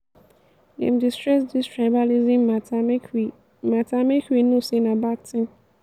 dem dey stress dis tribalism mata make we mata make we know sey na bad tin.